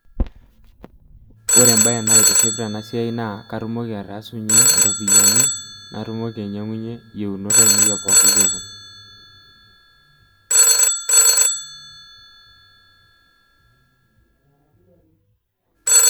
Ore embae naitiship tena siai naa katumoki ataasunyie iropiyiani, natumoki ainyiangie iyieunot ainei epookin kekun.